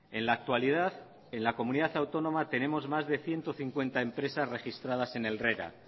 en la actualidad en la comunidad autónoma tenemos más de ciento cincuenta empresas registradas en el rera